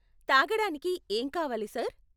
తాగడానికి ఏం కావాలి సార్?